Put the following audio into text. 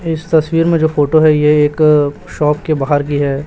इस तस्वीर में जो फोटो है यह एक शॉप के बाहर की है।